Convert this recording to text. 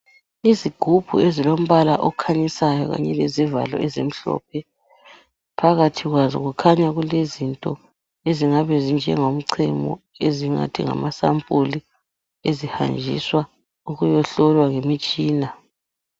Izigubhu ezilombala okhanyisayo kanye lezivalo ezimhlophe, phakathi kwazo kukhanya kulezinto ezifana lemichemo ezingabe zingamasampuli ezihanjiswa ukuyahlolwa ngemitshina.